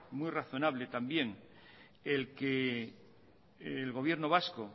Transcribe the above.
muy razonable también el que el gobierno vasco